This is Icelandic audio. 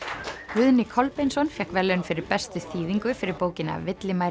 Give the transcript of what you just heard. Guðni Kolbeinsson fékk verðlaun fyrir bestu þýðingu fyrir bókina